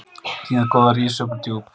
Hnéð góða rís upp úr djúp